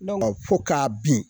Fo k'a bin